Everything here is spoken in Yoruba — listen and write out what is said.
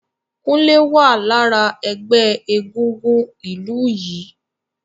Kunle wá lára ẹgbẹ́ egúngún ìlú yìí